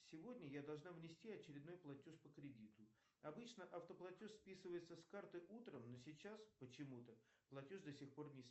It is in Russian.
сегодня я должна внести очередной платеж по кредиту обычно автоплатеж списывается с карты утром но сейчас почему то платеж до сих пор не